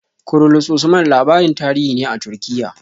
"Kurulus Usman" labarin tarihi ne a Turkiya.